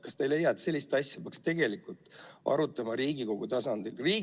Kas te ei leia, et sellist asja peaks tegelikult arutama Riigikogu tasandil?